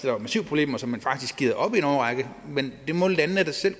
var massive problemer så man faktisk har givet op i en årrække men det må landene da selv